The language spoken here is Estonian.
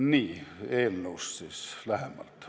Nüüd eelnõust lähemalt.